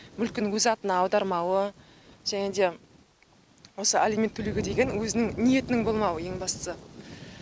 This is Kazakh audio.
мүлкін өз атына аудармауы және де осы алимент төлеуге деген өзінің ниетінің болмауы ең бастысы